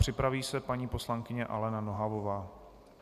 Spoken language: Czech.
Připraví se paní poslankyně Alena Nohavová.